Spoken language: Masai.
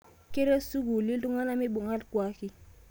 Kerret sukuuli olkuak ltung'ana meibung'a lkuaki